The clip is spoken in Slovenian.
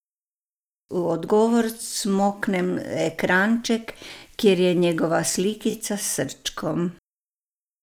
V odgovor cmoknem ekranček, kjer je njegova slikica s srčkom.